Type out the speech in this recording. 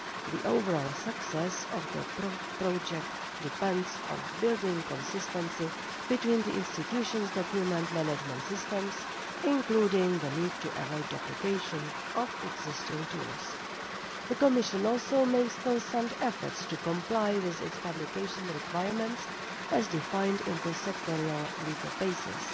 The overall success of the project depends on building consistency between the institutions' document management systems, including the need to avoid duplication of existing tools. The Commission also makes constant efforts to comply with its publication requirements as defined in the sectorial legal bases.